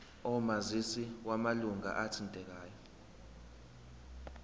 omazisi wamalunga athintekayo